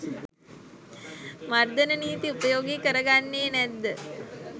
මර්දන නීති උපයෝගී කරගන්නේ නැද්ද?